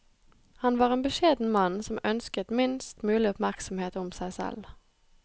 Han var en beskjeden mann som ønsket minst mulig oppmerksomhet om seg selv.